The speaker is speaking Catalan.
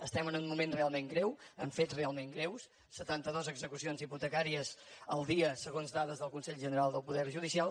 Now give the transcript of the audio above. estem en un moment realment greu amb fets realment greus setanta dues execucions hipotecàries al dia segons dades del consell general del poder judicial